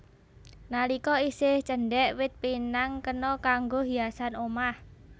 Nalika isih cendhèk wit pinang kena kanggo hiasan omah